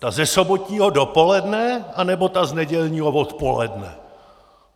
Ta ze sobotního dopoledne, anebo ta z nedělního odpoledne?